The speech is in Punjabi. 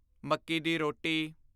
ਮੱਕੀ ਦੀ ਰੋਟੀ